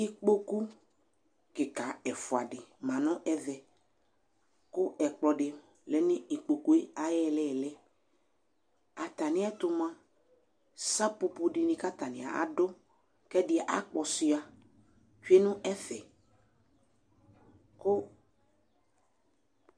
Ɩƙpoƙʊ ƙɩƙa ɛfʊa dɩ ma ŋʊ ɛʋɛ, ƙʊ ɛƙplɔbdɩ lɛ ɩƙpoƙʊ aƴʊ ilɩlɩ Atɛmɩɛtʊ mʊa saƒoƒo dɩŋɩ ƙataŋɩ adʊ kɛdɩ aƙpɔsʊa tsʊe ŋʊ ɛfɛ ƙʊ